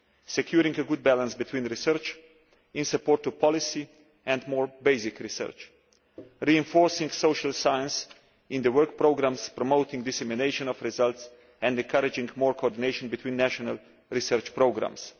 securing a good balance between research in support of policy and more basic research, reinforcing social science in the work programmes, promoting dissemination of results and encouraging more coordination between national research programmes.